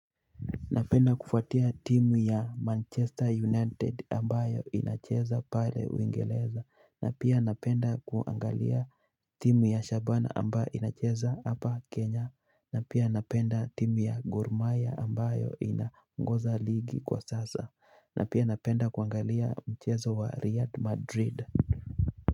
Napenda kufuatia timu ya Manchester United ambayo inacheza pale Uingereza na pia napenda kuangalia timu ya Shabana ambayo inacheza hapa Kenya na pia napenda timu ya Gormahia ambayo inaongoza ligi kwa sasa na pia napenda kuangalia mchezo wa real madrid.